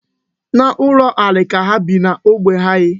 N'ụlọ ala ka ha bi n'ógbè anyị.